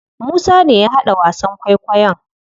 Musa ne ya haɗa wasan kwaikwayon.